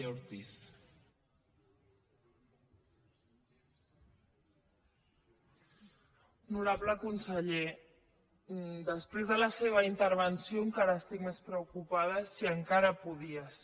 honorable conseller després de la seva intervenció encara estic més preocupada si encara podia ser